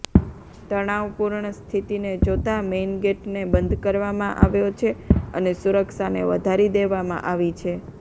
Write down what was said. તણાવપૂર્ણ સ્થિતિને જોતા મેઈન ગેટને બંધ કરવામાં આવ્યો છે અને સુરક્ષાને વધારી દેવામાં આવી છે